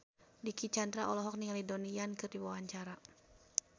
Dicky Chandra olohok ningali Donnie Yan keur diwawancara